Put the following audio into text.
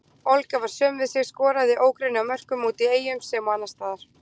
Olga var söm við sig, skoraði ógrynni af mörkum úti í Eyjum sem og annarsstaðar.